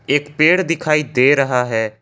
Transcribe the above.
एक पेड़ दिखाई दे रहा है।